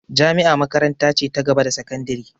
Jami'a makaranta ce ta gaba da sakandire